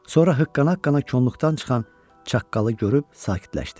Sonra hıqqana-hıqqana kolluqdan çıxan çaqqalı görüb sakitləşdi.